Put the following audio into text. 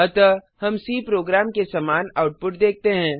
अतः हम C program के समान आउटपुट देखते हैं